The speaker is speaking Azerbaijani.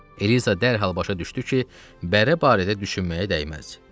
Eliza dərhal başa düşdü ki, bərə barədə düşünməyə dəyməz.